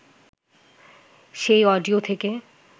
সেই অডিও থেকে